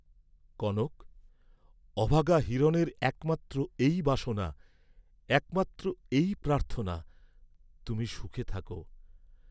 কনক, অভাগা হিরণের একমাত্র এই বাসনা, একমাত্র এই প্রার্থনা, তুমি সুখে থাক!